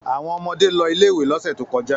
Àwọn ọmọdé lọ ilé-ìwé lọ́sẹ̀ tó kọjá.